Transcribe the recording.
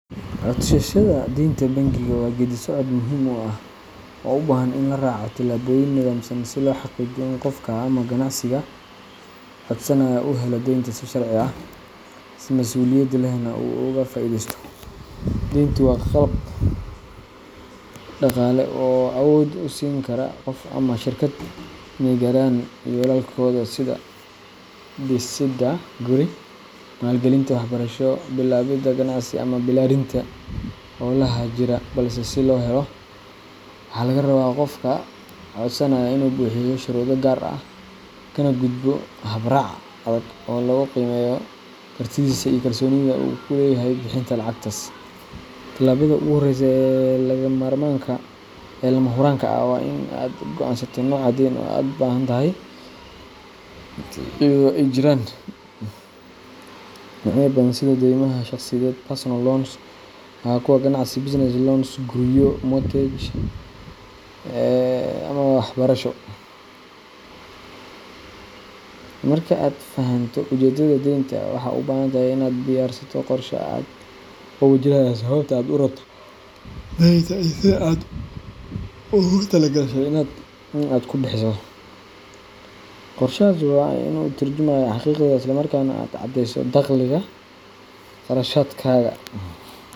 Codsashada deynta bangiga waa geeddi-socod muhiim ah oo u baahan in la raaco tillaabooyin nidaamsan si loo xaqiijiyo in qofka ama ganacsiga codsanaya uu helo deynta si sharci ah, si mas’uuliyad lehna uu uga faa’iideysto. Deyntu waa qalab dhaqaale oo awood u siin kara qof ama shirkad in ay gaaraan yoolalkooda sida dhisidda guri, maalgelinta waxbarasho, bilaabidda ganacsi, ama ballaarinta hawlaha jira balse si loo helo, waxaa laga rabaa qofka codsanaya inuu buuxiyo shuruudo gaar ah, kana gudbo habraac adag oo lagu qiimeeyo kartidiisa iyo kalsoonida uu ku leeyahay bixinta lacagtaas. Tallaabada ugu horreysa ee lama huraanka ah waa in aad go'aansato nooca deyn ee aad u baahan tahay, iyadoo ay jiraan noocyo badan sida deymaha shaqsiyeed personal loans, kuwa ganacsi business loans, guryo mortgage, ama waxbarasho. Marka aad fahanto ujeeddada deynta, waxaad u baahan tahay in aad diyaarsato qorshe cad oo muujinaya sababta aad u rabto deynta iyo sida aad ugu talo-gashay in aad ku bixiso. Qorshahaas waa in uu ka turjumayaa xaqiiqada, islamarkaana aad caddeyso dakhligaga, kharashaadkaaga.